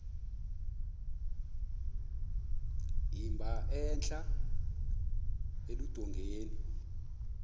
emba entla eludongeni